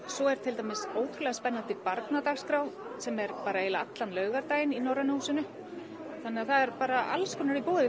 svo er til dæmis ótrúlega spennandi barnadagskrá eiginlega allan laugardaginn í Norræna húsinu þannig að það er alls konar í boði